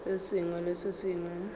se sengwe le se sengwe